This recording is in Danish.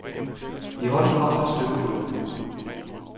I hånden har hun et stykke kul.